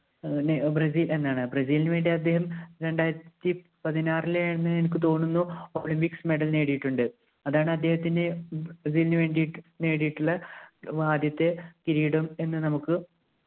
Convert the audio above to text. Brazil എന്നാണ് ബ്രസീലിനു വേണ്ടി അദ്ദേഹം രണ്ടായിരത്തിപതിനാറിലെ ആണെന്ന് എനിക്ക് തോന്നുന്നു ഒളിമ്പിക്സ് medel നേടിയിട്ടുണ്ട് അതാണ് അദ്ദേഹത്തിൻ്റെ നുവേണ്ടിട്ടു നേടിയിട്ടുള്ള ആദ്യത്തെ കിരീടം എന്ന് നമുക്ക്